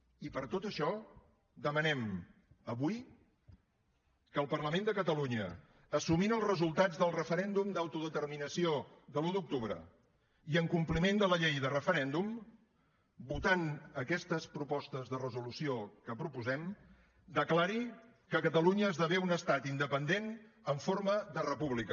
i per tot això demanem avui que el parlament de catalunya assumint els resultats del referèndum d’autodeterminació de l’un d’octubre i en compliment de la llei de referèndum votant aquestes propostes de resolució que proposem declari que catalunya esdevé un estat independent en forma de república